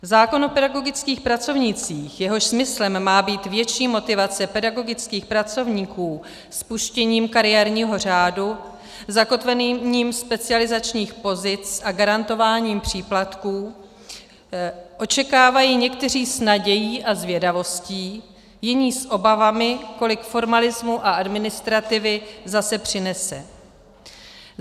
Zákon o pedagogických pracovnících, jehož smyslem má být větší motivace pedagogických pracovníků, spuštěním kariérního řádu, zakotvením specializačních pozic a garantováním příplatků očekávají někteří s nadějí a zvědavostí, jiní s obavami, kolik formalismu a administrativy zase přinese.